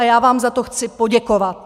A já vám za to chci poděkovat.